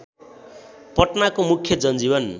पटनाको मुख्य जनजीवन